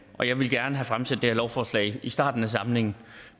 og jeg ville gerne have fremsat det her lovforslag i starten af samlingen